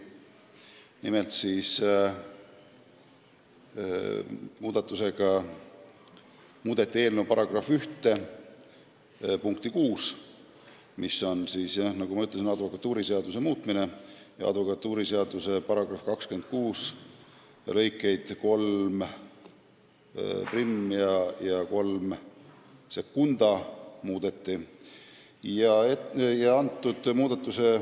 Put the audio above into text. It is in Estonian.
Nimelt tehti ettepanek muuta eelnõu § 1 punkti 6, mis puudutab, nagu ma ütlesin, advokatuuriseadust, täpsemalt selle § 26 lõikeid 31 ja 32.